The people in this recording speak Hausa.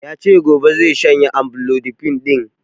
Yace gobe zai shanye amlodipine ɗin